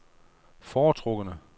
foretrukne